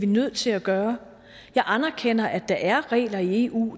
nødt til at gøre jeg anerkender at der er regler i eu